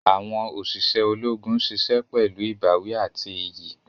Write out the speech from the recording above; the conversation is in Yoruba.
Awọn oṣiṣẹ Ológùn ṣiṣẹ pẹlu ìbáwí àti iyì